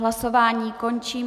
Hlasování končím.